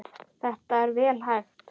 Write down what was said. Þetta er vel hægt.